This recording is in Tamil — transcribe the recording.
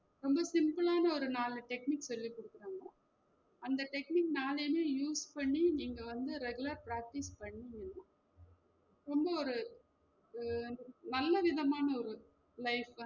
ரொம்ப simple ஆன ஒரு நாலு techniques சொல்லி குடுக்குறங்க அந்த technique நாலையுமே use பண்ணி நீங்க வந்து regular practice பண்ணீங்கனா ரொம்ப ஒரு அஹ் நல்ல விதமான ஒரு life